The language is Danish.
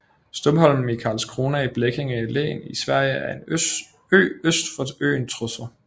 Stumholmen i Karlskrona i Blekinge län i Sverige er en ø øst for øen Trossö